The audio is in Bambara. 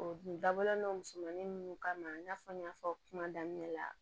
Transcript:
O dun dabɔlen don musomannin minnu kama i n'a fɔ n y'a fɔ kuma daminɛ la